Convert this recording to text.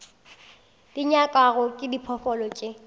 di nyakwago ke diphoofolo tše